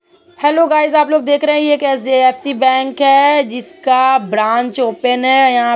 Hello guys आप लोग देख रहै हैं यह जो एच.डी.एफ.सी. बैंक है जिसका ब्रांच ओपन है यहां --